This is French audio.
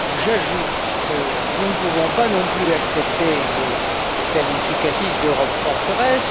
J'ajoute que nous ne pouvons pas non plus accepter le qualificatif d'Europe forteresse.